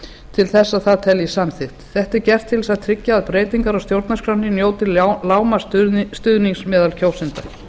til að það teljist samþykkt þetta er gert til að tryggja að breytingar á stjórnarskránni njóti lágmarksstuðnings meðal kjósenda